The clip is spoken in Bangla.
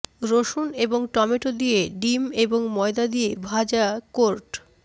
রসুন এবং টমেটো দিয়ে ডিম এবং ময়দা দিয়ে ভাজা কোর্ট